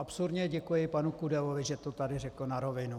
Absurdně děkuji panu Kudelovi, že to tady řekl na rovinu.